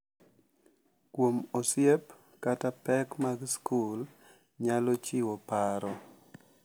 Kuom osiep kata pek mag skul nyalo chiwo paro .